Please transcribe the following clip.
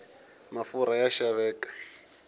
mafurha ya xaveka